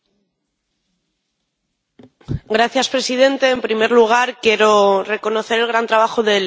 Señor presidente, en primer lugar quiero reconocer el gran trabajo del ponente con este informe